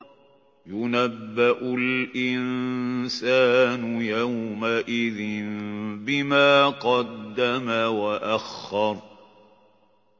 يُنَبَّأُ الْإِنسَانُ يَوْمَئِذٍ بِمَا قَدَّمَ وَأَخَّرَ